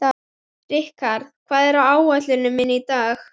Rikharð, hvað er á áætluninni minni í dag?